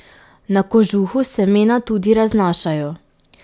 Na kožuhu semena tudi raznašajo.